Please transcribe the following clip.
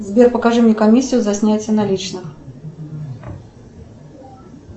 сбер покажи мне комиссию за снятие наличных